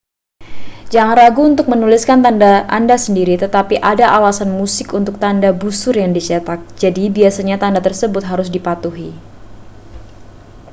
jangan ragu untuk menuliskan tanda anda sendiri tetapi ada alasan musik untuk tanda busur yang dicetak jadi biasanya tanda tersebut harus dipatuhi